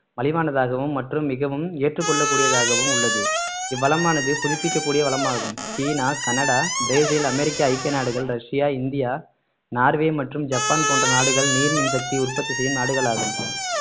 மலிவானதாகவும் மற்றும் மிகவும் ஏற்றுக்கொள்ளக்கூடியதாகவும் உள்ளது இவ்வளமானது புதுப்பிக்கக்கூடிய வளமாகும் சீனா கனடா பிரேசில் அமெரிக்க ஐக்கிய நாடுகள் ரஷ்யா இந்தியா நார்வே மற்றும் ஜப்பான் போன்ற நாடுகள் நீர் மின்சக்தி உற்பத்தி செய்யும் நாடுகளாகும்